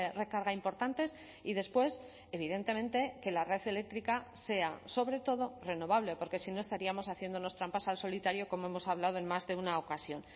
recarga importantes y después evidentemente que la red eléctrica sea sobretodo renovable porque si no estaríamos haciéndonos trampas al solitario como hemos hablado en más de una ocasión